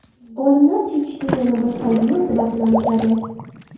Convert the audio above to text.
Olimlar chekishning yana bir salbiy oqibatini aniqladi.